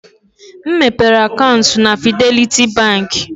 M mepere akaụntụ na Fidelity Bank.